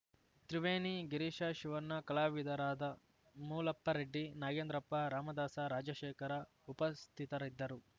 ತ್ರಿವೇಣಿ ಗಿರೀಶ ಶಿವಣ್ಣ ಕಲಾವಿದರಾದ ಮೂಳಪ್ಪರೆಡ್ಡಿ ನಾಗೇಂದ್ರಪ್ಪ ರಾಮದಾಸ ರಾಜಶೇಖರ ಉಪಸ್ಥಿತರಿದ್ದರು